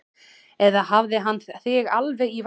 Eða hefur hann þig alveg í vasanum?